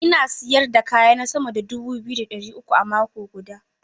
Ina sayar da kayana sama da dubu biyu da ɗari uku a mako guda.